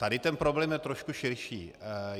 Tady ten problém je trošku širší.